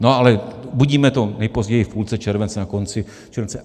No ale uvidíme to nejpozději v půlce července, na konci července.